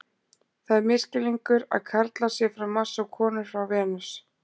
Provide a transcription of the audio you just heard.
Það er misskilningur að karlar séu frá Mars og konur frá Venus.